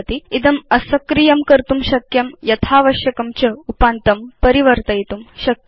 इदम् असक्रियं कर्तुं शक्यम् आवश्यकतानुसारं च उपान्तं परिवर्तयितुं शक्यम्